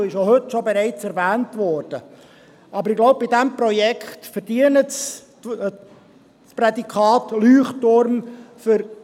Ich glaube, dieses Projekt für unsere Universität Bern verdiene das Prädikat «Leuchtturm».